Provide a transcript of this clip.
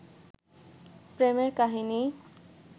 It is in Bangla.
প্রেমের কাহিনী